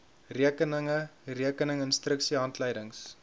rekeninge rekening instruksiehandleidings